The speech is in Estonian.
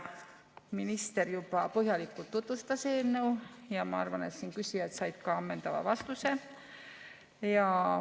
Minister juba põhjalikult tutvustas eelnõu ja ma arvan, et küsijad said ka ammendavad vastused.